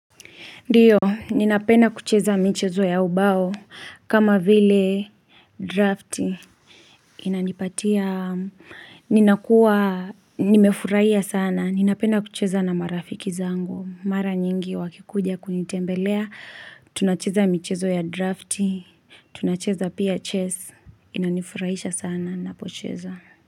Ndiyo, ninapenda kucheza michezo ya ubao, kama vile drafti. Inanipatia, ninakuwa, nimefurahiya sana, ninapenda kucheza na marafiki zangu. Mara nyingi wakikuja kunitembelea, tunacheza michezo ya drafti, tunacheza pia chess, inanifurahisha sana, ninapocheza.